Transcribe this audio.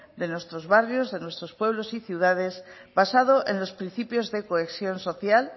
de nuestros barrios de nuestros pueblos y ciudades basado en los principios de cohesión social